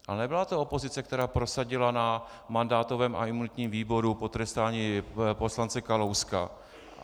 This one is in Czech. Ale nebyla to opozice, která prosadila na mandátovém a imunitním výboru potrestání poslance Kalouska.